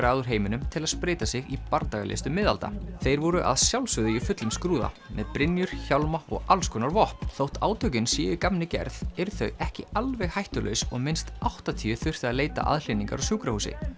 að úr heiminum til að spreyta sig í bardagalistum miðalda þeir voru að sjálfsögðu í fullum skrúða með brynjur hjálma og alls konar vopn þótt átökin séu í gamni gerð eru þau ekki alveg hættulaus og minnst áttatíu þurftu að leita aðhlynningar á sjúkrahúsi